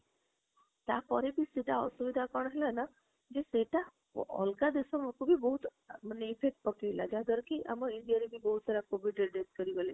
ତା ପରେ ବି ସେଟା କଣ ଅସୁବିଧା ହେଲା ନା ଯେ ସେତ ଅଲଗା ଦେଶ ଉପରେ ବହୁତ effect ପକେଇଲା ଯାହା ଦ୍ୱାରା କି ଆମ ଇଣ୍ଡିଆ ରେ ବି ବହୁତ ସାରା COVID ରେ death ହେଇ ଗଲେ